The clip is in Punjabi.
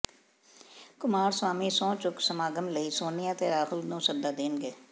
ਕੁਮਾਰਸਵਾਮੀ ਸਹੁੰ ਚੁੱਕ ਸਮਾਗਮ ਲਈ ਸੋਨੀਆ ਤੇ ਰਾਹੁਲ ਨੂੰ ਸੱਦਾ ਦੇਣਗੇ